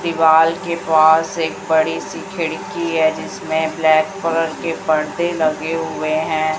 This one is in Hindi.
दीवाल के पास एक बड़ी सी खिड़की है जिसमें ब्लैक कलर के परदे लगे हुए हैं।